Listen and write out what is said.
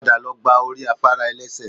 Padà lọ gba orí afárá ẹ̀lẹ́sẹ̀